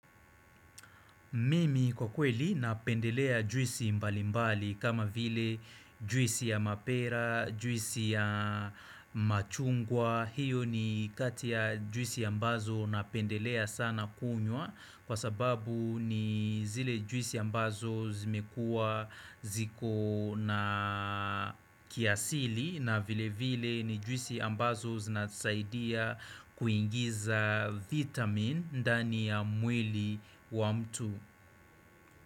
Mimi kwa kweli napendelea juisi mbali mbali kama vile juisi ya mapera, juisi ya machungwa, hiyo ni kati ya juisi ambazo napendelea sana kunywa kwa sababu ni zile juisi ya ambazo zimekua ziko na kiasili na vile vile ni juisi ambazo zinasaidia kuingiza vitamin ndani ya mwili wa mtu.